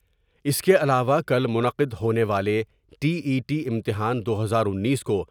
اس کے علاوہ کل منعقد ہونے والے ٹی ای ٹی امتحان دو ہزار انیس کو۔